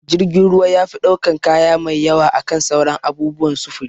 Jirgin ruwa yafi ɗaukan kaya mai yawa akan sauran abubuwan sufuri